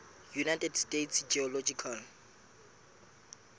united states geological